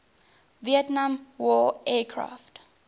vietnam war aircraft